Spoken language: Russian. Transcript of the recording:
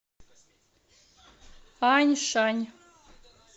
аньшань